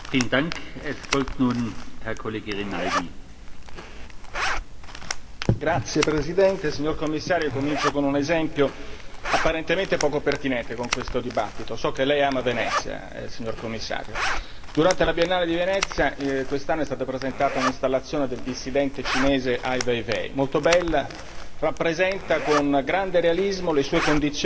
Signor Presidente, onorevoli colleghi, signor Commissario, comincio con un esempio apparentemente poco pertinente con questo dibattito. So che Lei ama Venezia, signor Commissario, durante la biennale di Venezia quest'anno è stata presentata un'installazione del dissidente cinese Ai Weiwei, molto bella, rappresenta con grande realismo le sue condizioni di detenzione in isolamento.